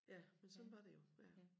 Ja men sådan var det jo ja